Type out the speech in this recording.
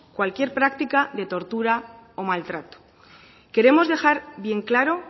cualquier práctica de tortura o maltrato queremos dejar bien claro